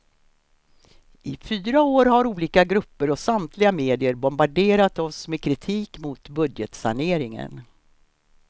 I fyra år har olika grupper och samtliga medier bombarderat oss med kritik mot budgetsaneringen.